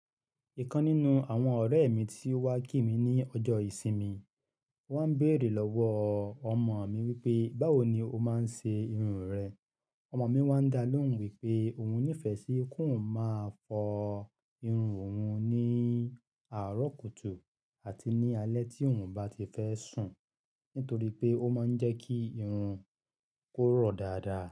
Ìkan nínú àwọn ọ̀rẹ́ mi tí ó wá kí mi ní ọjọ́ ìsinmi, ó wá béèrè lọ́wọ́ ọmọ mi wípé, báwo ni o máa ń ṣe irun rẹ? Ọmọ mi wá ń dá lóhùn wípé òun nífẹ̀ẹ́ sí kí òun máa fọ irun òun ní àárọ̀ kùtù àti ní alẹ́ tí òun bá ti fẹ́ sùn, nítorí pé ó máa ń jẹ́ kí irun kó rọ̀ dáadáa.